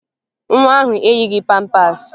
Nwa ahụ eyighi pampaasị